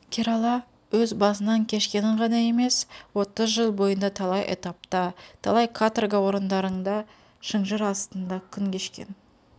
керала өз басынан кешкенін ғана емес отыз жыл бойында талай этапта талай каторга орындарыңда шынжыр астында күн кешкен